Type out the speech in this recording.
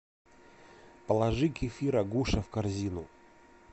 положи кефир агуша в корзину